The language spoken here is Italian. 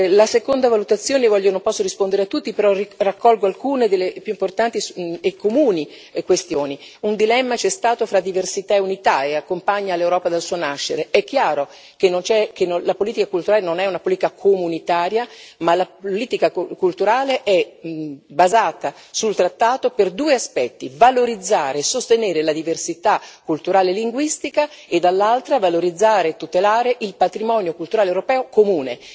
La seconda valutazione non posso rispondere a tutti, però raccolgo alcune delle questioni più importanti e comuni un dilemma c'è stato fra diversità e unità e accompagna l'Europa dal suo nascere, è chiaro che la politica culturale non è una politica comunitaria ma la politica culturale è basata sul trattato per due aspetti valorizzare e sostenere la diversità culturale e linguistica e dall'altra valorizzare e tutelare il patrimonio culturale europeo comune.